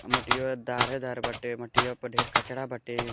मटिहो धारे धार बाटे। मटिहो पर ढेर कचरा बाटे।